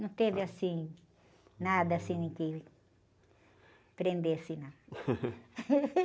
Não teve assim, nada assim que prendesse, não.